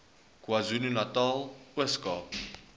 kwazulunatal ooskaap